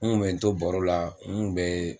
N kun bɛ n to baro la n kun bɛ